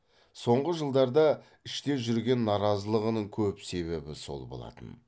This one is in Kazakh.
соңғы жылдарда іште жүрген наразылығының көп себебі сол болатын